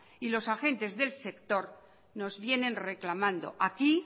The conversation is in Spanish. y los agentes del sector nos vienen reclamando aquí